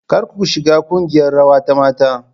Kar ku shiga kungiyar rawa ta mata.